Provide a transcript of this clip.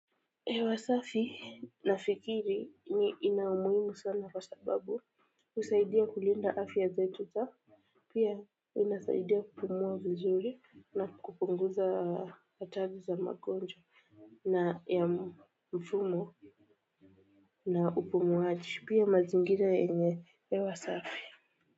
Hewasafi nafikiri ni ina umuhimu sana kwa sababu husaidia kulinda afya zetu za pia inasaidia kupumua vizuri na kupunguza hatari za magonjwa na ya mfumo na upumuaji pia mazingira yenye hewa safi.